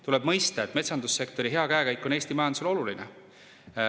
Tuleb mõista, et metsandussektori hea käekäik on Eesti majandusele oluline.